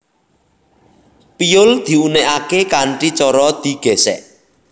Piyul diunèkaké kanthi cara digèsèk